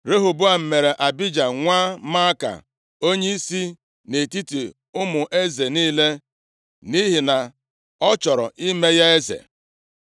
Rehoboam mere Abija nwa Maaka onyeisi nʼetiti ụmụ eze niile nʼihi na ọ chọrọ ime ya eze.